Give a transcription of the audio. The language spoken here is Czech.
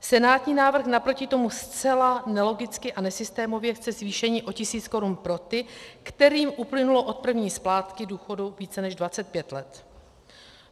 Senátní návrh naproti tomu zcela nelogicky a nesystémově chce zvýšení o tisíc korun pro ty, kterým uplynulo od první splátky důchodu více než 25 let.